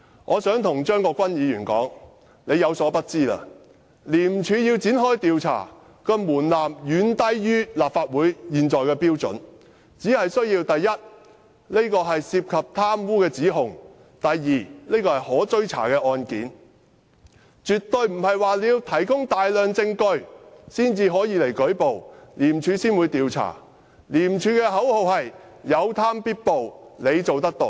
我想告訴張議員，他有所不知，要廉署展開調查的門檻遠低於立法會現有的標準，只要是涉及貪污的指控或是可追查的案件，不用提供大量證據便可以舉報，廉署便會展開調查，廉署的口號是："有貪必報，你做得到"。